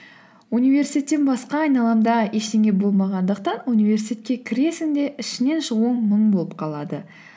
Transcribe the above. университеттен басқа айналамда ештеңе болмағандықтан университетке кіресің де ішінен шығуың мұң болып қалады